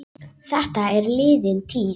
Þetta er liðin tíð.